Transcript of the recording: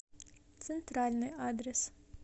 центральный адрес